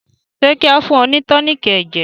ṣe kí ao fún ni toniiki ẹjẹ?